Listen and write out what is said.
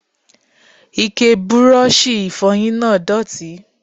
Ike Bírọ́ọ̀ṣì ìfọyín náà dọ̀tí.